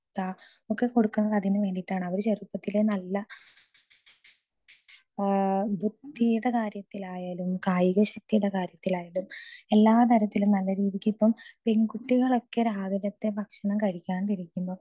speaker 2 മുട്ട ഒക്കെ കൊടുക്കുന്നത് അതിന് വേണ്ടിയിട്ടാണ് അവര് ചെറുപ്പത്തിലേ നല്ല ബുദ്ധിയുടെ കാര്യത്തിൽ ആയാലും കായിക ശക്തിയുടെ കാര്യത്തിൽ ആയാലും എല്ലാ തരത്തിലും നല്ലരീതിക്ക് ഇപ്പൊ പെൺകുട്ടികളൊക്കെ രാവിലത്തെ ഭക്ഷണം കഴിക്കാതെ ഇരിക്കുമ്പോ